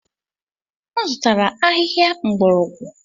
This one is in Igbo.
M zụtara ahịhịa mgbọrọgwụ.